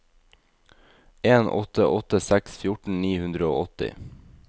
en åtte åtte seks fjorten ni hundre og åtti